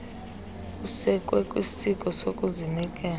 usekwe kwisiko sokuzinikela